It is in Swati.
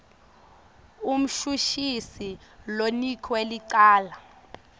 umshushisi lonikwe licala